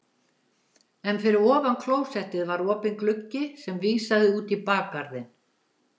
En fyrir ofan klósettið var opinn gluggi sem vísaði út í bakgarðinn.